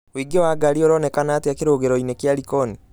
ũingĩ wa ngari ũronekana atĩa kirũgĩro -ĩni kia likoni